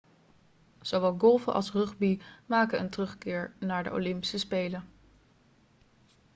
zowel golfen als rugby maken een terugkeer naar de olympische spelen